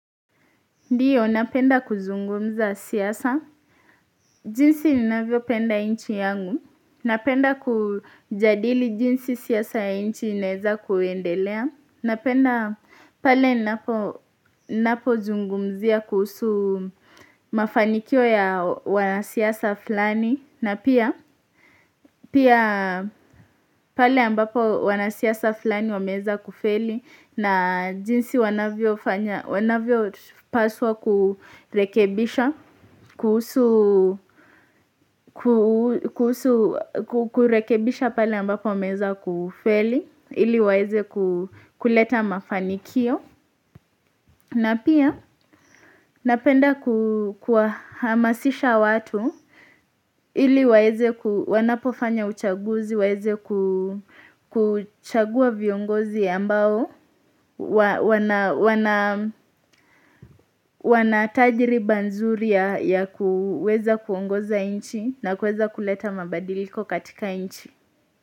Ndiyo napenda kuzungumza siyasa, jinsi ninavyo napenda nchi yangu, napenda kujadili jinsi siyasa ya nchi inaeza kuendelea, napenda pale napo zungumzia kuhusu mafanikio ya wanasiasa fulani, na pia pale ambapo wanasiasa fulani wameeza kufeli na jinsi wanavyo paswa kurekebisha, kurekebisha pale ambapo wameeza kufeli, ili waeze kuleta mafanikio. Na pia napenda kuhamasisha watu ili wanapofanya uchaguzi, waeze kuchagua viongozi ambao, wanatajiriba nzuri ya kuweza kuongoza nchi na kuweza kuleta mabadiliko katika nchi.